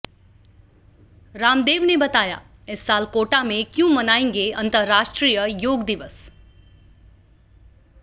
रामदेव ने बताया इस साल कोटा में क्यों मनाएंगे अंतर्राष्ट्रीय योग दिवस